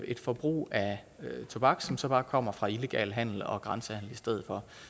et forbrug af tobak som så bare kommer fra illegal handel og grænsehandel i stedet for